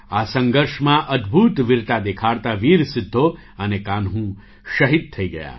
આ સંઘર્ષમાં અદ્ભુત વીરતા દેખાડતા વીર સિદ્ધો અને કાન્હૂ શહીદ થઈ ગયા